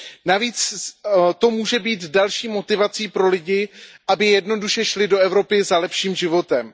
Navíc to může být další motivací pro lidi, aby jednoduše šli do Evropy za lepším životem.